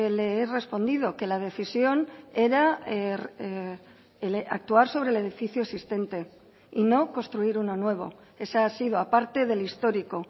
le he respondido que la decisión era actuar sobre el edificio existente y no construir uno nuevo esa ha sido aparte del histórico